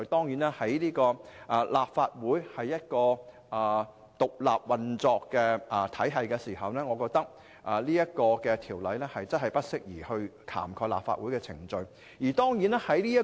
由於立法會是獨立運作的體系，我認為《條例草案》確實不宜涵蓋立法會的程序。